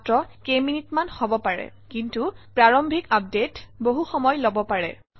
মাত্ৰ কেইটামান মিনিট হব পাৰে কিন্তু প্ৰাৰম্ভিক আপডেটে বহু সময় লব পাৰে